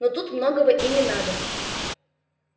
но тут многого и не надо